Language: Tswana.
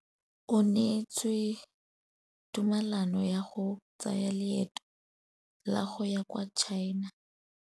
O neetswe tumalanô ya go tsaya loetô la go ya kwa China.